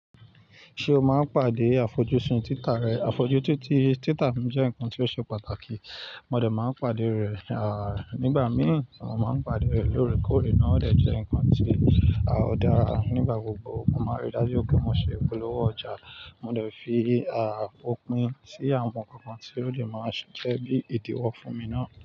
Ṣé o máa ń pàdé àfojúsùn títa rẹ? Àfojútiti títa mi jẹ́ nǹkan ti ó ṣe pàtàkì. Mo dẹ̀ máa ń pàdé rẹ̀, à, nígbà mìí ọ máa ń pàdé rẹ̀ lóòrèkóòrè náà dẹ̀ jẹ́ nǹkan tí, à, ó dára nígbà gbogbo. Mo máa rí dájú pé mo ṣe ìpolówó ọjà, mo dẹ̀ fi, à, òpin sí àwọn nǹkan tí ó dẹ̀ máa ṣiṣẹ́ bí ìdíwọ́ fún mi náà.